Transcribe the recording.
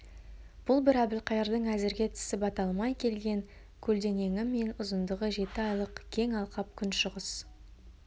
бұл бір әбілқайырдың әзірге тісі бата алмай келген көлденеңі мен ұзындығы жеті айлық кең алқап күншығыс